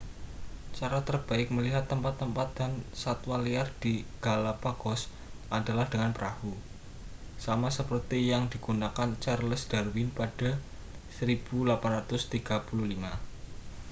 cara terbaik melihat tempat-tempat dan satwa liar di galapagos adalah dengan perahu sama seperti yang digunakan charles darwin pada 1835